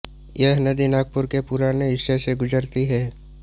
यह नदी नागपुर के पुराने हिस्से से गुजरती है